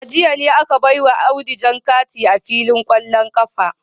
A jiya ne aka baiwa Audu jan kati a filin kwallon kafa